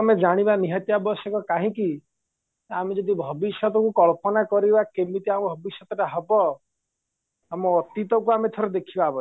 ତମେ ଜାଣିବା ନିହାତି ଆବଶ୍ୟକ କାହିଁକି ଆମେ ଯଦି ଭବିଷ୍ୟତକୁ କଳ୍ପନା କରିବା କେମିତି ଆଉ ଭବିଷ୍ୟତ ହବ ଆମ ଅତୀତକୁ ଥରେ ଦେଖିବା ଆବଶ୍ୟକ